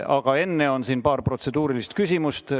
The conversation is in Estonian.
Aga enne on siin paar protseduurilist küsimust.